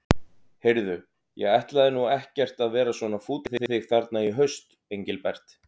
Heyrðu. ég ætlaði nú ekkert að vera svona fúll við þig þarna í haust, Engilbert.